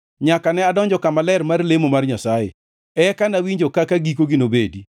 nyaka ne adonjo kama ler mar lemo mar Nyasaye; eka nawinjo kaka gikogi nobedi.